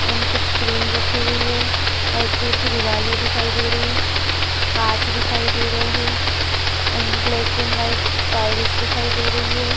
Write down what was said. And कूछ cream रखी हुई है। व्हाइट कलर की दिवारे दिखाई दे रही है काच दिखाई दे रहे है and black and white tiles दिखाई दे रही है।